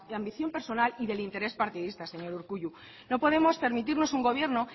la ambición personal y del interés partidista señor urkullu no podemos permitirnos un gobierno